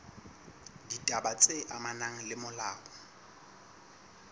ditaba tse amanang le molao